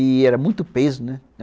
E era muito peso, né?